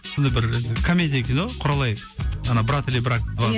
сондай бір комедия кино құралай ана брат или брак два